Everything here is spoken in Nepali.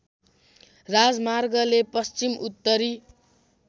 राजमार्गले पश्चिम उत्तरी